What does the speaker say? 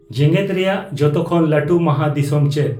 ᱡᱮᱜᱮᱫ ᱨᱮᱭᱟᱜ ᱡᱚᱛᱚᱠᱷᱚᱱ ᱞᱟᱹᱴᱩ ᱢᱟᱦᱟᱫᱤᱥᱚᱢ ᱪᱮᱫ